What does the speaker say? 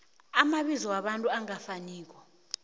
amabizo wabantu angafaniko